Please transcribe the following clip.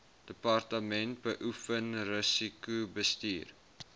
departement beoefen risikobestuur